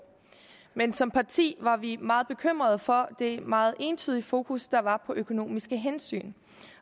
men som parti var vi meget bekymret for det meget entydige fokus der var på økonomiske hensyn